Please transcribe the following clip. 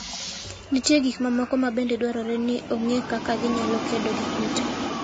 Nitie gik mamoko ma bende dwarore ni ong'e kaka ginyalo kedo gi kute.